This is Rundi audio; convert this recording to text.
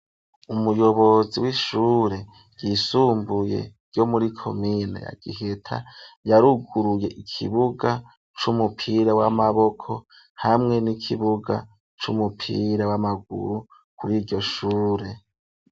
Umuyobozi w'ishure ryisumbuye ryo muri komine ya giheta yaruguruye ikibuga c'umupira w'amaboko hamwe n'ikibuga c'umupira w'amaguru kuri iryo shure.